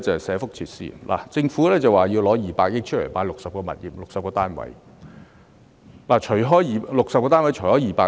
社福設施方面，政府表示會撥款200億元購置60個物業，即每個物業平均3億多元。